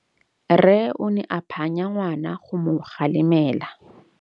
Rre o ne a phanya ngwana go mo galemela.